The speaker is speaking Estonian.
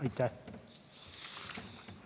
Aitäh!